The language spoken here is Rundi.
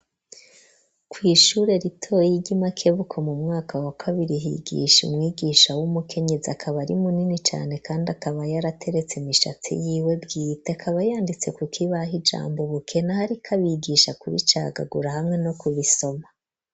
Kw’ishure ritoyi, ry'i Makebuko, mu mwaka wa kabiri, higisha umwigisha, w'umukenyezi, akaba, ari munini cane, kandi akaba, yarateretse imishatsi, yiwe bwite; akaba yanditse ku kibaha, ijambo ubukene, ariko abigisha, kubicagagura, hamwe no kubisoma.